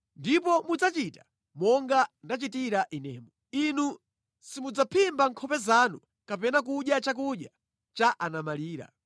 Ndipo mudzachita monga ndachitira inemu. Inu simudzaphimba nkhope zanu kapena kudya chakudya cha anamfedwa.